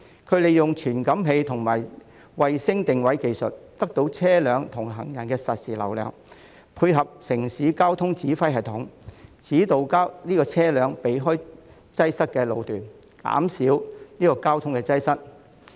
它們利用傳感器及衞星定位技術得到車輛和行人的實時流量數據，配合城市交通指揮系統，指導車輛避開擠塞的路段，減少交通擠塞。